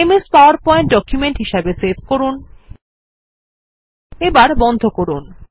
MS PowerPoint document হিসাবে save করুন এবার বন্ধ করুন